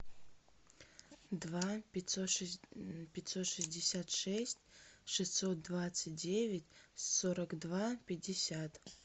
два пятьсот шестьдесят шесть шестьсот двадцать девять сорок два пятьдесят